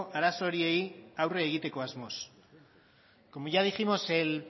arazo horiei aurre egiteko asmoz como ya dijimos el